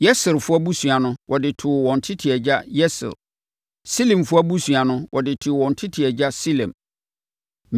Yeserfoɔ abusua no, wɔde too wɔn tete agya Yeser. Silemfoɔ abusua no, wɔde too wɔn tete agya Silem.